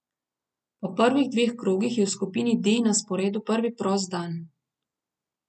Po prvih dveh krogih je v skupini D na sporedu prvi prost dan.